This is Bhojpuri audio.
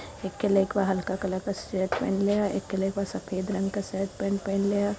एक ठे लइकवा हल्का कलर के शर्ट पहिनले ह। एक ठे लइकवा सफ़ेद रंग के शर्ट पैंट पहिनले ह।